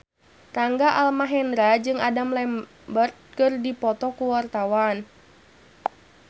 Rangga Almahendra jeung Adam Lambert keur dipoto ku wartawan